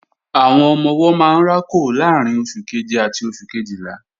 Àwọn ọmọ-ọwọ́ máa ń rákò láàrín oṣù keje àti oṣù Kejìlá